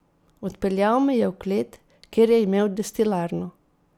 Odpeljal me je v klet, kjer je imel destilarno.